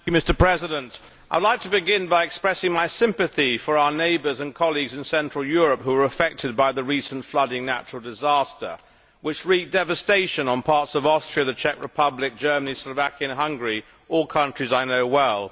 Mr President, I would like to begin by expressing my sympathy for our neighbours and colleagues in central Europe who were affected by the recent flooding natural disaster which wreaked devastation on parts of Austria, the Czech Republic, Germany, Slovakia and Hungary all countries I know well.